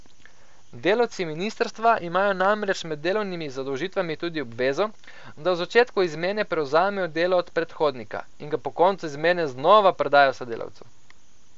Delavci ministrstva imajo namreč med delovnimi zadolžitvami tudi obvezo, da v začetku izmene prevzamejo delo od predhodnika, in ga po koncu izmene znova predajo sodelavcu.